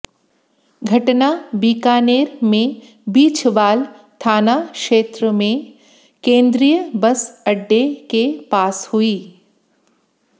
घटना बीकानेर में बीछवाल थाना क्षेत्र में केंद्रीय बस अड्डे के पास हुई